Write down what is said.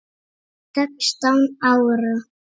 Sextán ára?